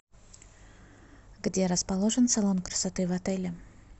где расположен салон красоты в отеле